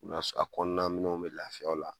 U n'a s a kɔɔna minɛnw me lafiya o la